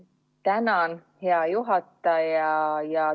Tänan, hea juhataja!